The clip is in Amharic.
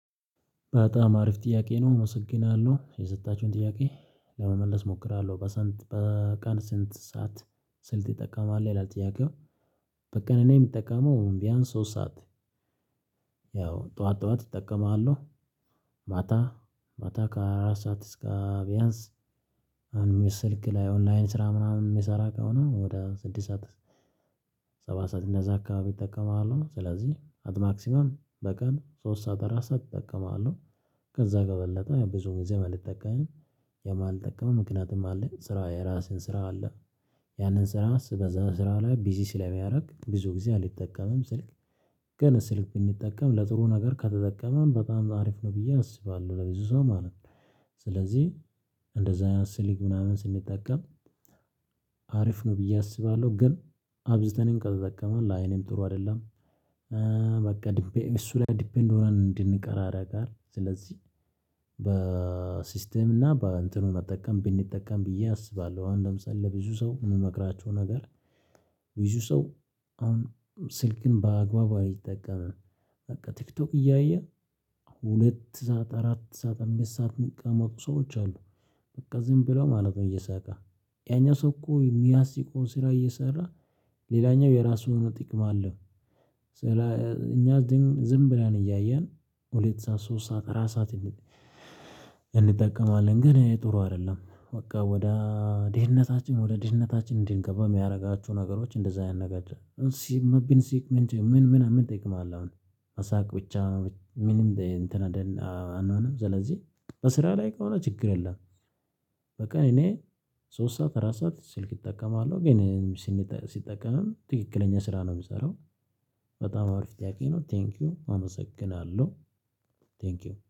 በጣም አሪፍ ጥያቄ ነው አመሰግናለሁ የሰጣችሁኝ ጥያቄ ለመመለስ እሞክራለሁ። በቀን ስንት ሰዓት? ስልክ ትጠቀማለህ ይላል ጥያቄው በቀን እኔ የምጠቀመው ቢያንስ ሶስት ሰዓት። ያው ጠዋት ጠዋት እጠቀማለሁ። ማታ ማታ ከአራት ሰዓት እስከ ቢያንስ። አምስት ስልክ ላይ ኦንላይን ስራ ምናምን የምሰራ ከሆነ ወደ ስድስት ሰዓት። ሰባት ሰዓት እንደዛ አካባቢ እጠቀማለሁ። ስለዚህ አት ማክሲመም በቀን ሶስት ሰዓት አራት ሰዓት እጠቀማለሁ። ከዛ በበለጠ ብዙ ጊዜ አልጠቀምም። የማልጠቀመው ምክንያቱም አለ ስራ የራሴ ስራ አለ። ያንን ስራ በዛ ስራ ላይ ቢዚ ስለሚያደርግ ብዙ ጊዜ አልጠቀመም ስልክ። ግን ስልክ ቢንጠቀም ለጥሩ ነገር ከተጠቀምን በጣም አሪፍ ነው ብዬ አስባለሁ ለብዙ ሰው ማለት ነው። ስለዚህ እንደዛ ስልክ ምናምን ስንጠቀም አሪፍ ነው። ብዬ አስባለሁ ግን አብዝተን ከተጠቀምን ለአይንም ጥሩ አይደለም። በቃ እሱ ላይ ዲፔንድ ሆነን እንድንቀር ያደርጋል። ስለዚህ በሲስተም እና በእንትን መጠቀም ብንጠቀም ብዬ አስባለሁ። አሁን ለምሳሌ ለብዙ ሰው የምመክራቸው ነገር። ብዙ ሰው አሁን ስልክን በአግባቡ አይጠቀምም በቃ ቲክቶክ እያየ ሁለት ሰዓት አራት ሰዓት አምስት ሰዓት የሚቀመጡ ሰዎች አሉ። በቃ ዝም ብለው ማለት ነው። እየሳቁ ያኛው ሰው እኮ የሚያስቀውን ስራ እየሰራ ሌላኛው የራሱን ጥቅም አለው። እኛ ደግሞ ዝም ብለን እያየን ሁለት ሰዓት ሶስት ሰዓት አራት ሰዓት እንጠቀማለን ግን ይሄ ጥሩ አይደለም። በቃ ወደ ድህነታችን ወደ ድህነታችን እንድንገባ የሚያደርጋችሁ ነገሮች እንደዛ አይነት ነገር። ብንስቅ ምን ምን ምን ምን ጥቅም አለ? አሁን መሳቅ ብቻ ምንም እንትን አንሆንም። ስለዚህ በስራ ላይ ከሆነ ችግር የለም። በቀን እኔ ሶስት ሰዓት አራት ሰዓት ስልክ እጠቀማለሁ ግን ስጠቀምም ትክክለኛ ስራ ነው የምሰራው። በጣም አሪፍ ጥያቄ ነው። ቴንኪው አመሰግናለሁ። ቴንኪው